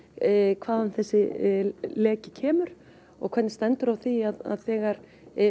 hvaðan þessi leki kemur hvernig stendur á því að þegar